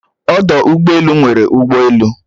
Ọdụ ụgbọelu nwere ụgbọelu